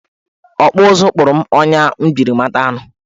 Ọkpụụzụ kpụrụ m ọnya m jiri mata anụ.